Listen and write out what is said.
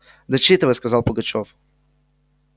дочитывай сказал пугачёв